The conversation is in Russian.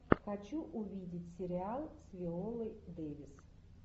хочу увидеть сериал с виолой дэвис